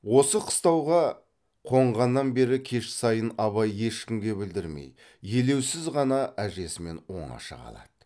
осы қыстауға қонғаннан бері кеш сайын абай ешкімге білдірмей елеусіз ғана әжесімен оңаша қалады